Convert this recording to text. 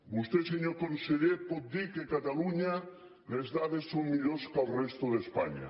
vostè senyor conseller pot dir que a catalunya les dades són millors que a la resta d’espanya